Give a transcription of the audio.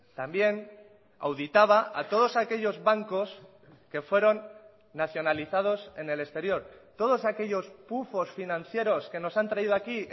también auditaba a todos aquellos bancos que fueron nacionalizados en el exterior todos aquellos pufos financieros que nos han traído aquí